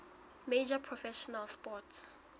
major professional sports